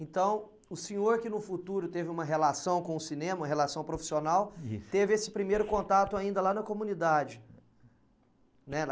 Então, o senhor que no futuro teve uma relação com o cinema, relação profissional, teve esse primeiro contato ainda lá na comunidade, né?